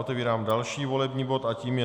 Otevírám další volební bod a tím je